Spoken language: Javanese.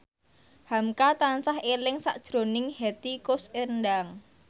hamka tansah eling sakjroning Hetty Koes Endang